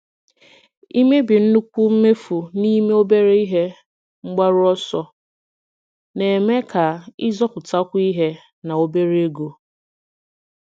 Ịmebi nnukwu mmefu n'ime obere ihe mgbaru ọsọ na-eme ka ịzọpụtakwu ihe na obere ego.